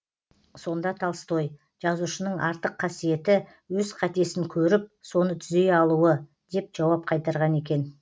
сонда толстой жазушының артық қасиеті өз қатесін көріп соны түзей алуы деп жауап қайтарған екен